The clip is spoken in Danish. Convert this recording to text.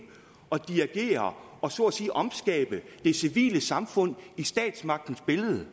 og dirigere og så at sige omskabe det civile samfund i statsmagtens billede